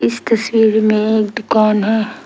इस तस्वीर में एक दुकान है।